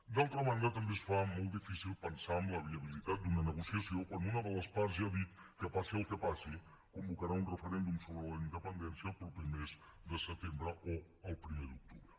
d’altra banda també es fa molt difícil pensar en la viabilitat d’una negociació quan una de les parts ja ha dit que passi el que passi convocarà un referèndum sobre la independència el proper mes de setembre o el primer d’octubre